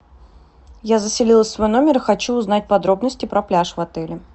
я заселилась в свой номер и хочу узнать подробности про пляж в отеле